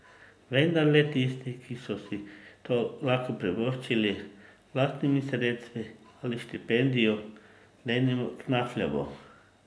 Vendar le tisti, ki so si to lahko privoščili z lastnimi sredstvi ali s štipendijo, denimo Knafljevo.